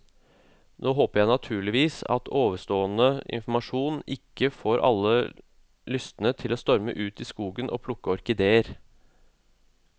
Nå håper jeg naturligvis at ovenstående informasjon ikke får alle lystne til å storme ut i skogen og plukke orkideer.